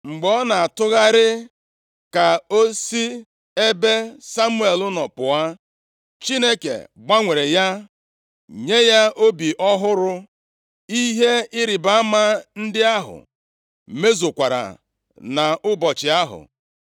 Mgbe ọ na-atụgharị ka ọ si ebe Samuel nọ pụọ, Chineke gbanwere ya, nye ya obi ọhụrụ, ihe ịrịbama ndị ahụ mezukwara nʼụbọchị ahụ.